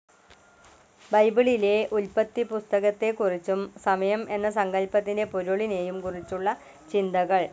ബൈബിളിലെ ഉല്പത്തിപ്പുസ്തകത്തേക്കുറിച്ചും സമയം എന്ന സങ്കല്പത്തിന്റെ പൊരുളിനേയും കുറിച്ചുള്ള ചിന്തകൾ.